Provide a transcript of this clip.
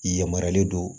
I yamarualen don